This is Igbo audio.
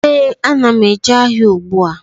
Ee, a na m eje ahịa ùgbúà